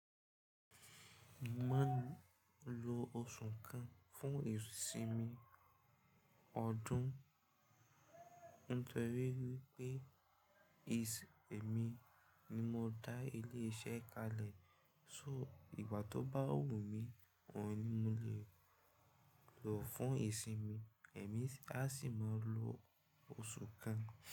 Máa ń lo ọsu kan fún ìsimi ọdún. Nítorí wípé ìsì èmi ni mo dá ilé iṣẹ́ kalẹ̀. So ìgbà tó bá wù mí, òun ni mo lè lò fún ìsinmi èmi. A sì máa lo ọsu kan.